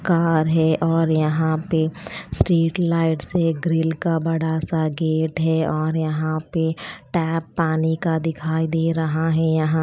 car है और यहाँ पे स्टेट लाइट से ग्रील का बड़ा सा गेट है और यहाँ पे टेप पाणी का दिखाई दे रहा है यहाँ --